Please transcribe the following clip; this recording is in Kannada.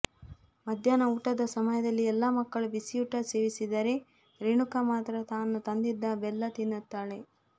ಮಧ್ಯಾಹ್ನ ಊಟದ ಸಮಯದಲ್ಲಿ ಎಲ್ಲಾ ಮಕ್ಕಳು ಬಿಸಿ ಊಟ ಸೇವಿಸಿದರೆ ರೇಣುಕಾ ಮಾತ್ರ ತಾನು ತಂದಿದ್ದ ಬೆಲ್ಲ ತಿನ್ನುತ್ತಾಳೆ